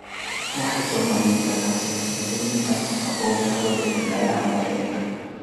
Waxay soo bandhigi kartaa siyaasado lagu dhimayo wasakhowga hawada ee meelaha magaalooyinka.